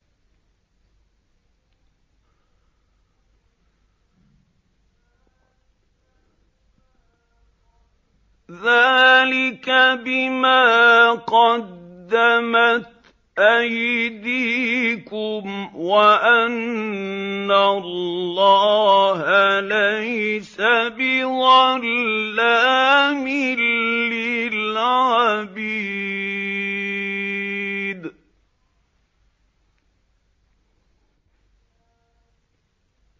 ذَٰلِكَ بِمَا قَدَّمَتْ أَيْدِيكُمْ وَأَنَّ اللَّهَ لَيْسَ بِظَلَّامٍ لِّلْعَبِيدِ